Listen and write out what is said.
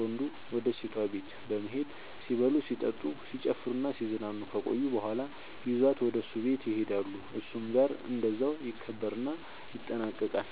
ወንዱ ወደ ሴቷ ቤት በመሄድ ሲበሉ ሲጠጡ፣ ሲጨፍሩናሲዝናኑ ከቆዩ በኋላ ይዟት ወደ እሱ ቤት ይሄዳሉ እሱም ጋር እንደዛው ይከበርና ይጠናቀቃል